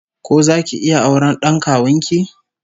Ko zaki iya auren d'an kawun ki?